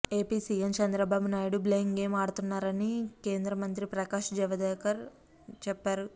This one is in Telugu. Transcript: AP CM Chandrababu Naidu blame game ఆడుతున్నారని కేంద్ర మంత్రి ప్రకాష్ జవదేకర్ చెప్పారు